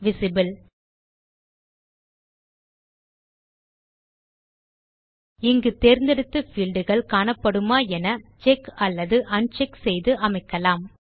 visible இங்கு தேர்ந்தெடுத்த field கள் காணப்படுமா என செக் அல்லது un செக் செய்து அமைக்கலாம்